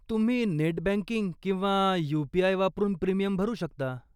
तुम्ही net banking किंवा UPI. वापरून प्रीमियम भरू शकता.